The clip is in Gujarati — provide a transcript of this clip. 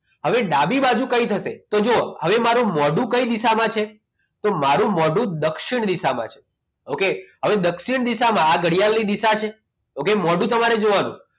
હવે ડાબી બાજુ કઈ થશે તો જો હવે મારે મોઢું કઈ દિશામાં છે તો મારું મોઢું દક્ષિણ દિશામાં છે okay હવે દક્ષિણ દિશામાં આ ઘડિયાળની દિશા છે okay મોઢું તમારું જોવાનું